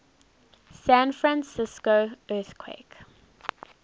san francisco earthquake